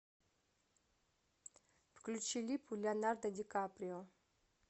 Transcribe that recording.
включи липу леонардо ди каприо